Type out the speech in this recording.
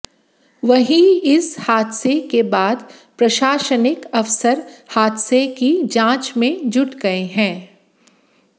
वहीं इस हादसे के बाद प्रशासनिक अफसर हादसे की जांच में जुट गए हैं